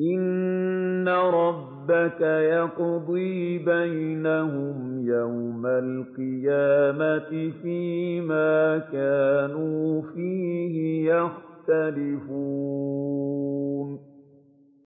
إِنَّ رَبَّكَ يَقْضِي بَيْنَهُمْ يَوْمَ الْقِيَامَةِ فِيمَا كَانُوا فِيهِ يَخْتَلِفُونَ